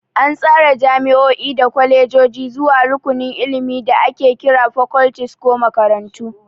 An tsara jami'o'i da kwalejoji zuwa rukunin ilimi da ake kira fakoltis ko makarantu.